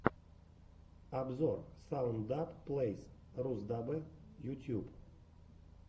обзор саунд даб плэйс русдаббэ ютьюб